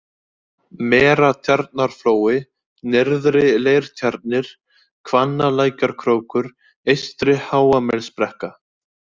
Meratjarnarflói, Nyrðri-Leirtjarnir, Hvannalækjarkrókur, Eystri-Háamelsbrekka